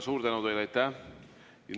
Suur tänu teile!